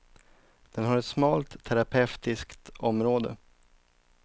Den har ett smalt terapeutiskt område.